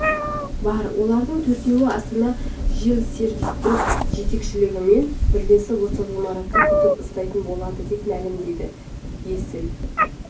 бар олардың төртеуі астана жилсервистің жетекшілігімен бірлесіп осы ғимаратты күтіп ұстайтын болады деп мәлімдеді есіл